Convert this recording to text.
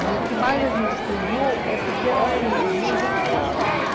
E o que mais a gente estranhou é porque era assim, as ruas não tinham asfalto.